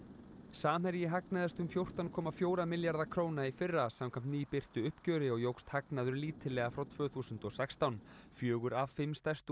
samherji hagnaðist um fjórtán komma fjóra milljarða króna í fyrra samkvæmt uppgjöri og jókst hagnaður lítillega frá tvö þúsund og sextán fjögur af fimm stærstu